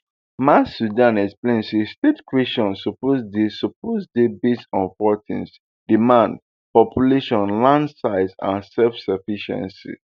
maisudan explain say state creation suppose dey suppose dey based on four things demand population land size and self sufficiency